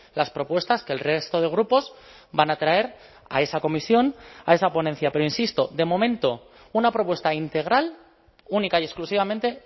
las propuestas que el resto de grupos van a traer a esa comisión a esa ponencia pero insisto de momento una propuesta integral única y exclusivamente